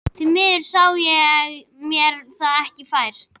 Því miður sá ég mér það ekki fært.